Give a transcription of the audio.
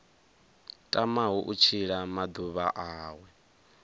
tamaho u tshila maḓuvha awe